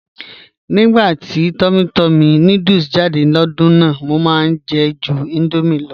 "̀Nígbà tí túmmỳ túmmỳ núdùlù jáde lódùn náà, mọ̀ máá jẹ̀ jù Indomie ló.